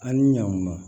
An ni ɲankuma